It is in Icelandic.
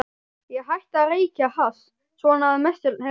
Ég hætti að reykja hass, svona að mestu leyti.